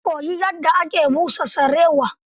Zan koyi yadda ake busa sarewa.